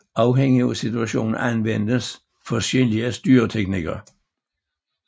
Afhængig af situationen anvendes forskellige styreteknikker